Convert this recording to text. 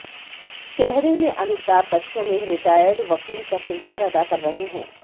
चेहरे में अमिताभ बच्चन एक रिटायर्ड वकील का किरदार अदा कर रहे हैं